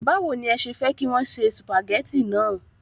Báwo ni ẹ ṣe fẹ́ kí wọn se sùpàgẹ́tì náà?